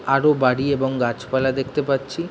আরো বাড়ি এবং গাছ পালা দেখতে পারছি ।